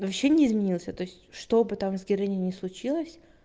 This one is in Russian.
вообще не изменился то чтобы там с героиней не случилось